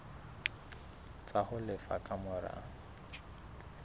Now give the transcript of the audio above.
tsa ho lefa ka mora